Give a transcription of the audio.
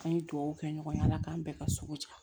An ye duwawu kɛ ɲɔgɔn ye ala k'an bɛɛ ka sugu ja